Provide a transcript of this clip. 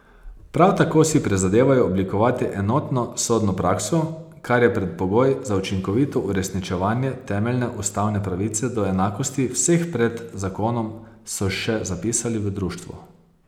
Prav tako si prizadevajo oblikovati enotno sodno prakso, kar je predpogoj za učinkovito uresničevanje temeljne ustavne pravice do enakosti vseh pred zakonom, so še zapisali v društvu.